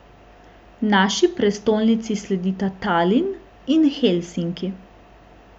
Naši prestolnici sledita Talin in Helsinki.